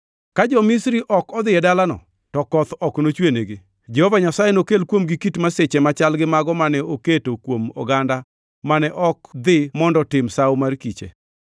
Ka jo-Misri ok odhi e dalano to koth ok nochwenigi. Jehova Nyasaye nokel kuomgi kit masiche machal gi mago mane oketo kuom oganda mane ok dhi mondo otim Sawo mar Kiche.